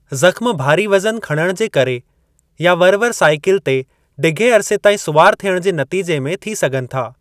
ज़ख़्म भारी वज़न खणणु जे करे या वरि-वरि साईकिल ते ढिघे अरिसे ताईं सुवार थियणु जे नतीजे में थी सघनि था।